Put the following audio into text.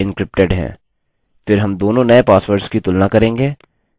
हम उनके पुराने पासवर्ड को जाँचेंगे जो कि डेटाबेस में है